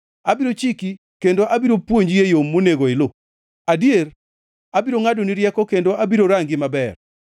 Abiro chiki kendo abiro puonji e yo monego ilu; adier abiro ngʼadoni rieko kendo abiro rangi maber.